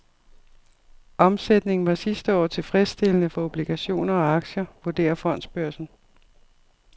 Omsætningen var sidste år tilfredsstillende for obligationer og aktier, vurderer fondsbørsen.